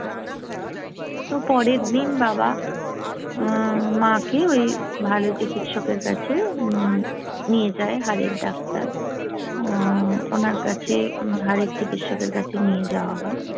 তো পরের দিন বাবা মাকে ওই ভালো চিকিৎসকের কাছে নিয়ে যায় হাড়ের ডাক্তার ওনার কাছে হাড়ের চিকিৎসকের কাছে নিয়ে যাওয়া হয়